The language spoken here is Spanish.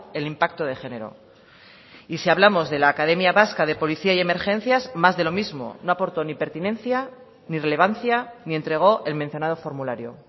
el impacto de género y si hablamos de la academia vasca de policía y emergencias más de lo mismo no aportó ni pertinencia ni relevancia ni entregó el mencionado formulario